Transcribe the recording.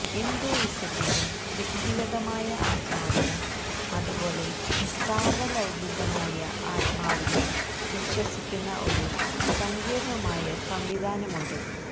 ഹിന്ദുയിസത്തിന് വ്യക്തിഗതമായ ആത്മാവിനും അതുപോലെ സാർവ്വലൌകികമായ ആത്മാവിലും വിശ്വസിക്കുന്ന ഒരു സങ്കീർണമായ സംവിധാനമുണ്ട്